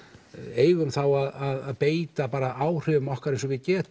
eigum þá að beita áhrifum okkar eins og við getum